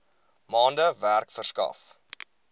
maande werk verskaf